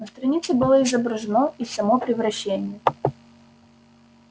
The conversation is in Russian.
на странице было изображено и само превращение